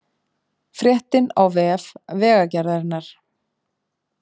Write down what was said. Fréttin á vef Vegagerðarinnar